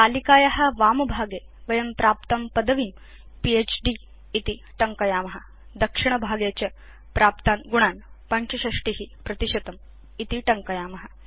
तालिकाया वामभागे वयं प्राप्तां पदवीं फ्द् इति टङ्कयाम दक्षिणभागे च प्राप्तान् गुणान् 65 इति टङ्कयाम